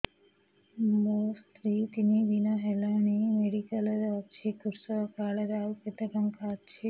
ମୋ ସ୍ତ୍ରୀ ତିନି ଦିନ ହେଲାଣି ମେଡିକାଲ ରେ ଅଛି କୃଷକ କାର୍ଡ ରେ ଆଉ କେତେ ଟଙ୍କା ଅଛି